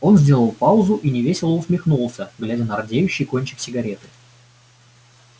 он сделал паузу и невесело усмехнулся глядя на рдеющий кончик сигареты